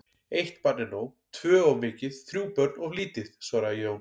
Eitt barn er nóg, tvö of mikið, þrjú börn of lítið, svaraði Jón.